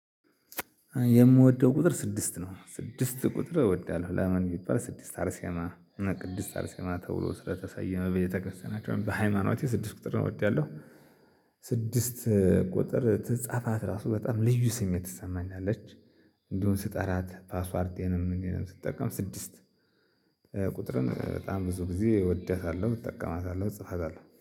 የምወደው ቁጥር ስድስት ነው ስድስት ቁጥር እወዳለሁ ለምን ቢባል ስድስት አርሴማ ቅድስት አርሴማ ተብሎ ስለተሰየመ በቤተክርስቲያናችን በሃይማኖቴ ስድስት ቁጥር እወዳለሁ። ስድስት ቁጥር ትጻፋት ራሱ በጣም ልዩ ስሜት ትሰማኛለች እንዲሁም ስጠራት ፓስዋርቴንም ምኔንም ስጠቀም ስድስት። ቁጥርም በጣም ብዙ ጊዜ እወዳታለሁ እጠቀማታለሁ እጽፋታለሁ